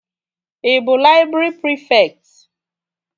Ị bụ laịbrị prịfekt?